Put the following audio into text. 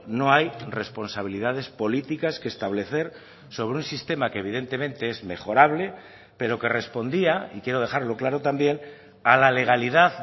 no hay responsabilidades políticas que establecer sobre un sistema que evidentemente es mejorable pero que respondía y quiero dejarlo claro también a la legalidad